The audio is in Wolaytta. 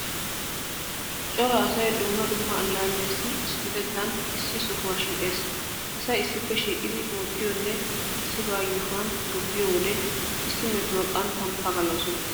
Cora asay dumma dumma allaalliyassi issippetettan issi sohuwan shiiqees. Asay issippe shiiqidi oottiyonne issibaa yuushuwan tobbiyo wode issi metuwa qanttan pagaloosona.